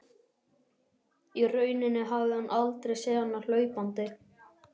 Í rauninni hafði hann aldrei séð hana hlaupandi.